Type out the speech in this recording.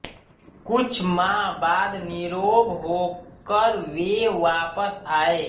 कुछ माह बाद नीरोग होकर वे वापस आये